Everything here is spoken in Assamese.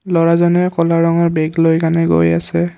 ল'ৰাজনে ক'লা ৰঙৰ বেগলৈ কানে গৈ আছে।